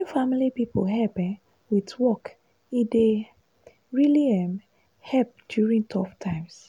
wen family people help um with work e dey really um help during tough times.